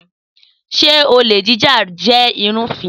Sé olè jíjà jẹ́ ìlúfin?